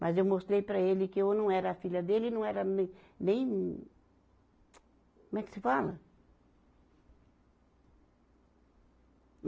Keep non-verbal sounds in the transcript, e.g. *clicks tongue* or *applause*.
Mas eu mostrei para ele que eu não era a filha dele, ele não era me, nem *clicks tongue* Como é que se fala?